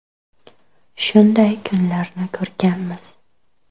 Shunday kunlarni ko‘rganmiz.